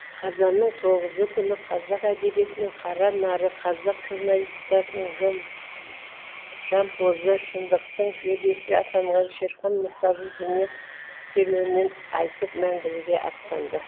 қазанның тоғызы күні қазақ әдебиетінің қара нары қазақ журналистикасының жампозы шындықтың жебесі атанған шерхан мұртаза дүние керуенінен айтып мәңгілікке атанды